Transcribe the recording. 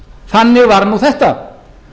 þannig var nú þetta